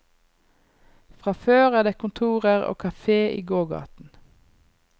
Fra før er det kontorer og kafé i gågaten.